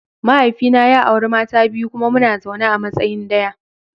Mahaifina ya auri mata biyu kuma muna zaune a matsayin daya.